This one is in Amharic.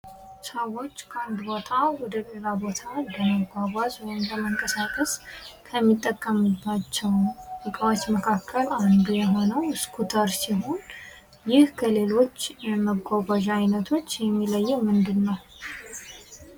ሰዎች ከአንድ ቦታ ወደሌላ ቦታ ከሚጠቀሙባቸው እቃወች መካከል አንዱ የሆነው ስኩተር ሲሆን ይህ ከሌሎች መጓጓዣ አይነቶች የሚለየው ምንድን ነው።